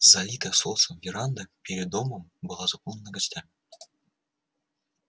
залитая солнцем веранда перед домом была заполнена гостями